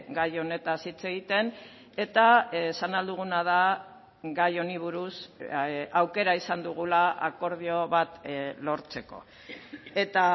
gai honetaz hitz egiten eta esan ahal duguna da gai honi buruz aukera izan dugula akordio bat lortzeko eta